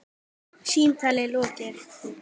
Símtali lokið.